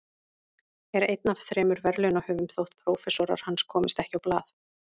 Er einn af þremur verðlaunahöfum þótt prófessorar hans komist ekki á blað.